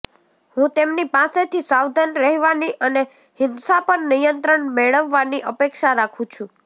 હું તેમની પાસેથી સાવધાન રહેવાની અને હિંસા પર નિયંત્રણ મેળવવાની અપેક્ષા રાખું છું